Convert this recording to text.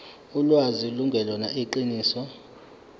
ulwazi lungelona iqiniso